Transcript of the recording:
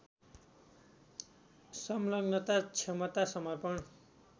सङ्लग्नता क्षमता समर्पण